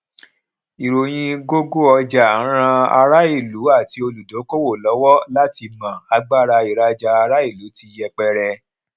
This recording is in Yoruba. ìròyìn gógó ọjà ran ará ìlú àti olùdókòwò lọwọ láti mọ agbára ìrajà ará ìlú tí yẹpẹrẹ